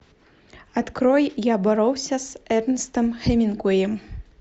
открой я боролся с эрнестом хемингуэем